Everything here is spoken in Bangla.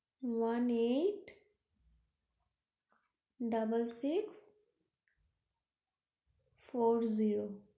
One eight